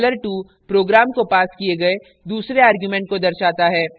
dollar 2 program को passed किये गए दूसरे argument को दर्शाता है